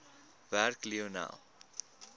werk lionel